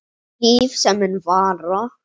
Líf sem mun vara.